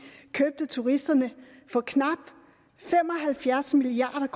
købte turisterne for knap fem og halvfjerds milliard